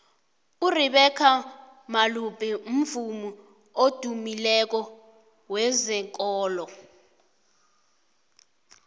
urebecca malope mvumi odymileko wezekolo